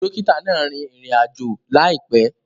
Dókítà náà rìn ìrìn-àjò láìpé